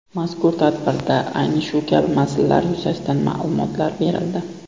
Mazkur tadbirda ayni shu kabi masalalar yuzasidan ma’lumotlar berildi.